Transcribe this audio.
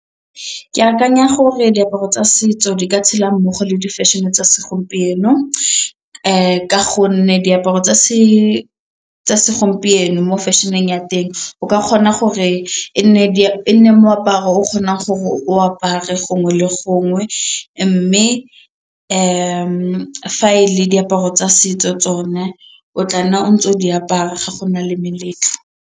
Ke akanya gore diaparo tsa setso di ka tshela mmogo le di-fashion-e tsa segompieno ka gonne diaparo tsa setso segompieno mo fashion-eng ya teng o ka kgona gore e nne moaparo o o kgonang gore o apare gongwe le gongwe mme fa e le diaparo tsa setso tsone o tla nna ntse o di apara ga go na le meletlo.